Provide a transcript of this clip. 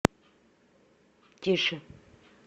тише